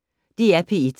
DR P1